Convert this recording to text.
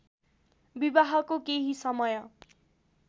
विवाहको केही समय